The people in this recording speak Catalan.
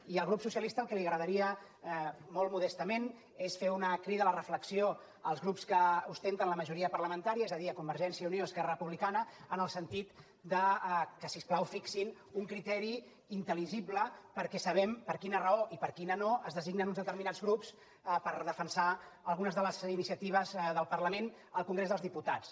i al grup socialista el que li agradaria molt modestament és fer una crida a la reflexió als grups que ostenten la majoria parlamentària és a dir a convergència i unió i esquerra republicana en el sentit que si us plau fixin un criteri intelperquè sabem per quina raó i per quina no es designen uns determinats grups per defensar algunes de les iniciatives del parlament al congrés dels diputats